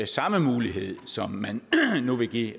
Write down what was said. samme mulighed som man nu vil give